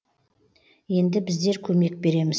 енді біздер көмек береміз